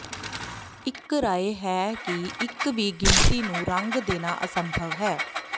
ਇੱਕ ਰਾਇ ਹੈ ਕਿ ਇੱਕ ਵੀ ਗਿਣਤੀ ਨੂੰ ਰੰਗ ਦੇਣਾ ਅਸੰਭਵ ਹੈ